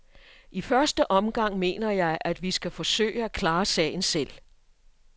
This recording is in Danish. I første omgang mener jeg, at vi skal forsøge at klare sagen selv.